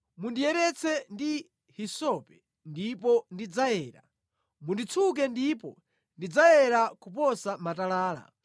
Mundiyeretse ndi hisope ndipo ndidzayera, munditsuke ndipo ndidzayera kuposa matalala